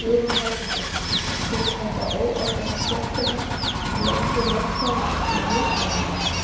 Hugrún Halldórsdóttir: Kemur þetta óorði á stéttina að nokkrir lögfræðingar skuli misnota þetta?